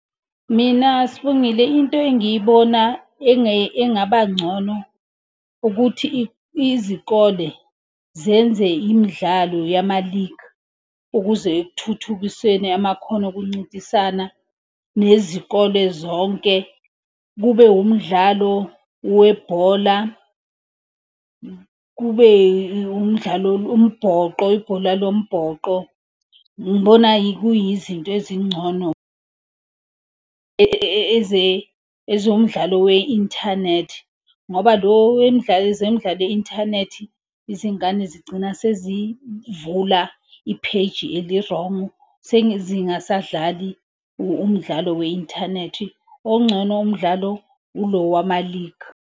Mina sibongile into engiyibona engaba ngcono ukuthi izikole zenze imidlalo yama-league ukuze kuthuthukiseni amakhono okuncintisana nezikole zonke. Kube wumdlalo webhola. Kube umdlalo umbhoxo, ibhola lo mbhoxo. Ngibona kuyi zinto ezingcono. Ezomdlalo we-inthanethi, ngoba lo zemdlalo ye-inthanethi izingane zigcina sezivula i-page eli-wrong. Sezingasadlali umdlalo we-inthanethi, ongcono umdlalo ilo wama-league.